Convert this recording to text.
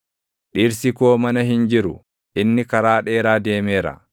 Dhirsi koo mana hin jiru; inni karaa dheeraa deemeera.